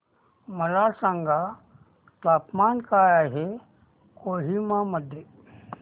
मला सांगा तापमान काय आहे कोहिमा मध्ये